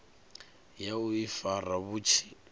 ya u ifara vhu tshi